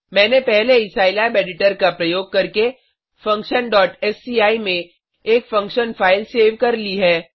मैंने पहले ही सिलाब एडिटर का प्रयोग करके functionसीआई में एक फंक्शन फाइल सेव कर ली है